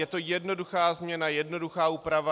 Je to jednoduchá změna, jednoduchá úprava.